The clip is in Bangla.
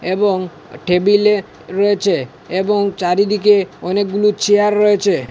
এবং টেবিলে রয়েছে এবং চারিদিকে অনেকগুলো চেয়ার রয়েছে।